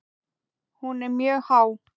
Hún er mjög há.